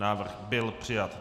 Návrh byl přijat.